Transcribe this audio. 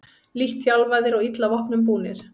Lítt þjálfaðir og illa vopnum búnir